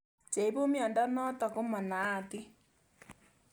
Che ipu miondo notok ko manaatin